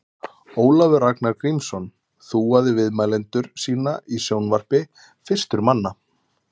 Ólafur Ragnar Grímsson þúaði viðmælendur sína í sjónvarpi fyrstur manna.